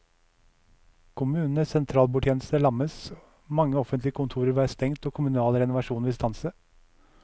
Kommunenes sentralbordtjeneste lammes, mange offentlige kontorer vil være stengt og kommunal renovasjon vil stanse.